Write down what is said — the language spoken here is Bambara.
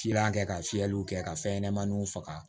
Filan kɛ ka fiyɛliw kɛ ka fɛn ɲɛnɛmaninw faga